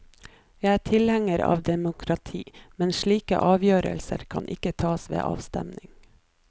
Jeg er tilhenger av demokrati, men slike avgjørelser kan ikke tas ved avstemning.